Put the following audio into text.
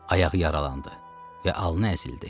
Ayağı yaralandı və alnı əzildi.